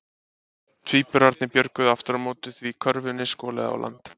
Tvíburarnir björguðust aftur á móti því körfunni skolaði á land.